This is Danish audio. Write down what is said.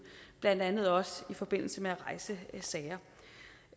blandt andet også i forbindelse med at rejse sager